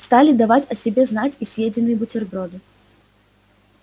стали давать о себе знать и съеденные бутерброды